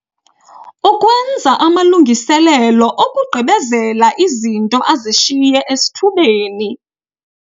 Ukwenza amalungiselelo okugqibezela izinto azishiye esithubeni.